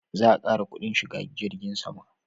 Za a ƙara kudin shiga jirgin sama